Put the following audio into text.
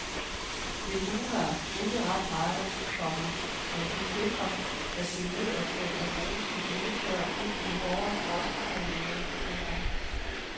Det luner ikke ret meget, komma men det sikrer at det nederste af rosen ikke tørrer ud i hårde frostperioder. punktum